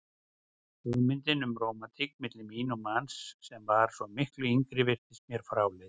Hugmyndin um rómantík milli mín og manns sem var svo miklu yngri virtist mér fráleit.